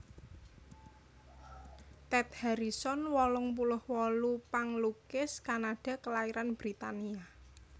Ted Harrison wolung puluh wolu panglukis Kanada kalairan Britania